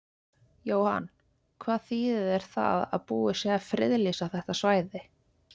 Jóhann, hvað þýðir það að búið sé að friðlýsa þetta svæði?